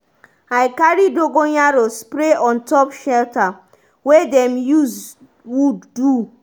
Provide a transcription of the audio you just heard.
i carry dogonyaro spray on top shelter wey dem use wood do.